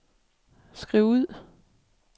skriv ud